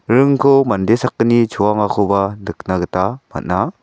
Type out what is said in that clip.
ringko mande sakgni choangakoba nikna gita man·a.